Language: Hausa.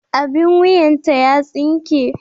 Abin wuyanta ya tsinke.